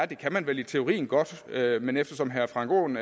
det kan man vel i teorien godt gøre men eftersom herre frank aaen